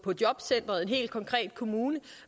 jobcenteret i en helt konkret kommune